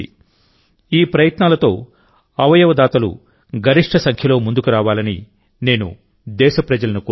ఈ ప్రయత్నాల మధ్యఅవయవ దాతలు గరిష్ట సంఖ్యలో ముందుకు రావాలని నేను దేశప్రజలను కోరుతున్నాను